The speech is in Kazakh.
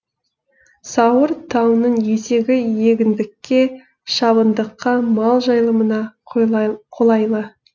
сауыр тауының етегі егіндікке шабындыққа мал жайылымына қолайлы